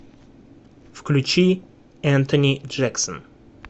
включи энтони джексон